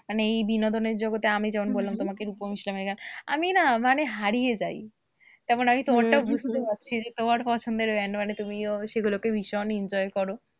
মানে এই বিনোদনের জগতে আমি যেমন বললাম তোমাকে রূপম ইসলামের গান, আমি না মানে হারিয়ে যাই, তেমন আমি তোমারটাও বুঝতে পারছি যে তোমার পছন্দের band মানে তুমিও সেগুলোকে ভীষণ enjoy করো।